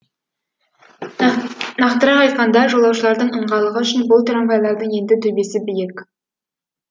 нақтырақ айтқанда жолаушылардың ыңғайлығы үшін бұл трамвайлардың енді төбесі биік